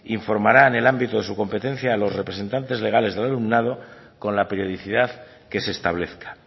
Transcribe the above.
informará en el ámbito de su competencia a los representantes legales del alumnado con la periodicidad que se establezca